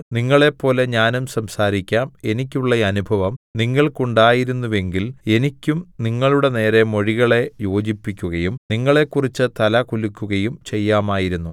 നിങ്ങളെപ്പോലെ ഞാനും സംസാരിക്കാം എനിയ്ക്കുള്ള അനുഭവം നിങ്ങൾക്കുണ്ടായിരുന്നുവെങ്കിൽ എനിയ്ക്കും നിങ്ങളുടെനേരെ മൊഴികളെ യോജിപ്പിക്കുകയും നിങ്ങളെക്കുറിച്ച് തല കുലുക്കുകയും ചെയ്യാമായിരുന്നു